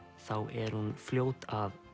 er hún fljót að